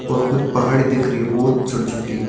और कुछ पहाड़ दिख रही है बहोत छोटी छोटी।